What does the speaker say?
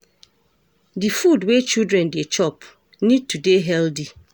Di Food wey children dey chop need to dey healthy